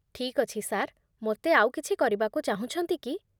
ଠିକ୍ ଅଛି ସାର୍, ମୋତେ ଆଉ କିଛି କରିବାକୁ ଚାହୁଁଛନ୍ତି କି?